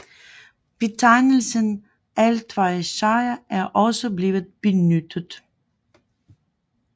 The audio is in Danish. Betegnelsen altvejrsjager er også blevet benyttet